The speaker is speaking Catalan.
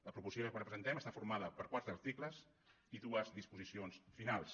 la proposició que ara presentem està formada per quatre articles i dues disposicions finals